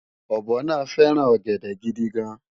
ọ̀bọ náà fẹ́ràn ọ̀gẹ̀dẹ̀ gidigan